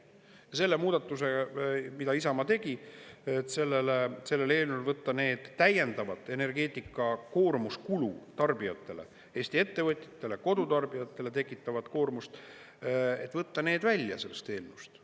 Ja selle muudatuse, mida Isamaa tegi, et sellel eelnõul võtta need täiendavalt energeetikakoormus kulu tarbijatele, Eesti ettevõtjatele, kodutarbijatele tekitavat koormust, et võtta need välja sellest eelnõust.